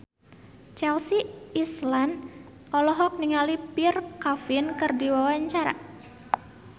Chelsea Islan olohok ningali Pierre Coffin keur diwawancara